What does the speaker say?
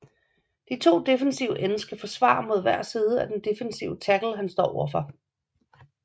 De to defensive ends skal forsvare mod hver side af den defensive tackle han står over for